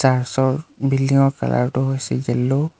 Search ৰ building ৰ colour টো হৈছে য়েল্লো ।